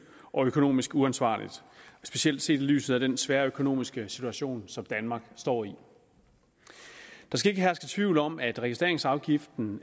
og økonomisk uansvarligt specielt set i lyset af den svære økonomiske situation som danmark står i der skal ikke herske nogen tvivl om at registreringsafgiften